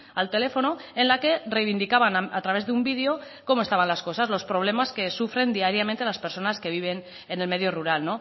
al teléfono en la que reivindicaban a través de un video cómo estaban las cosas los problemas que sufren diariamente las personas que viven en el medio rural